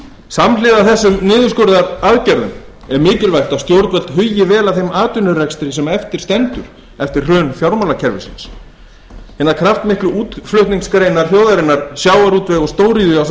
samhliða þessum niðurskurðaraðgerðum er mikilvægt að stjórnvöld hugi vel að þeim atvinnurekstri sem eftir stendur eftir hrun fjármálakerfisins hinar kraftmiklu útflutningsgreinar þjóðarinnar sjávarútvegur og stóriðja ásamt